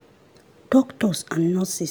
doctors and nurses